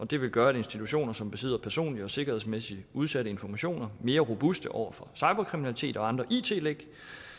det vil gøre institutioner som besidder personlige og sikkerhedsmæssigt udsatte informationer mere robuste over for cyberkriminalitet og andre it læk